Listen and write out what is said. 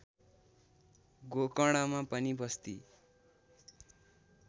गोकर्णमा पनि बस्ती